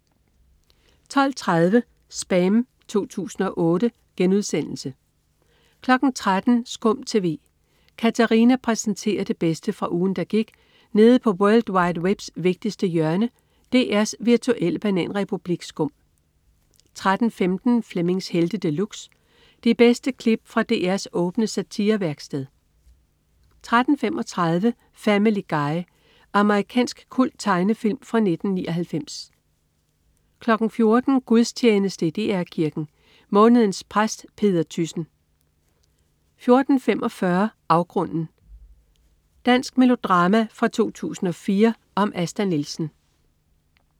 12.30 SPAM 2008* 13.00 SKUM TV. Katarina præsenterer det bedste fra ugen, der gik nede på world wide webs vigtigste hjørne, DR's virtuelle bananrepublik SKUM 13.15 Flemmings Helte De Luxe. De bedste klip fra DRs åbne satirevæksted 13.35 Family Guy. Amerikansk kulttegnefilm fra 1999 14.00 Gudstjeneste i DR Kirken. Månedens præst Peder Thyssen 14.45 Afgrunden. Dansk melodrama fra 2004 om Asta Nielsen